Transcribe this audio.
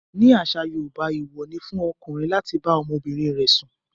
Nínú àṣà Yorùbá, èèwọ̀ ni fún ọkùnrin láti bá ọmọbìnrin rẹ̀ sùn.